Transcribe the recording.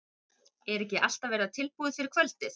Er ekki allt að verða tilbúið fyrir kvöldið?